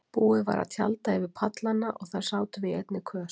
Búið var að tjalda yfir pallana og þar sátum við í einni kös.